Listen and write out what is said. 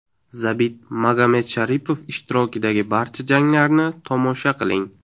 Zabit Magomedsharipov ishtirokidagi barcha janglarni tomosha qiling !